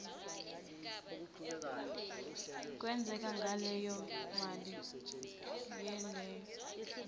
kwenzekani ngaleyomali leyomali